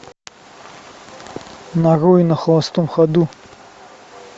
нарой на холостом ходу